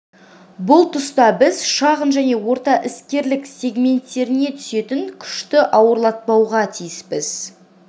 бұл тұста біз шағын және орта іскерлік сегменттеріне түсетін күшті ауырлатпауға тиіспіз